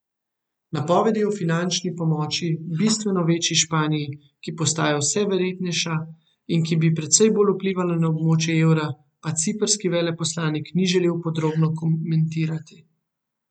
Napovedi o finančni pomoči bistveno večji Španiji, ki postaja vse verjetnejša in ki bi precej bolj vplivala na območje evra, pa ciprski veleposlanik ni želel podrobno komentirati.